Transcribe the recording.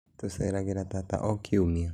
Tũceragĩra tata o kĩumia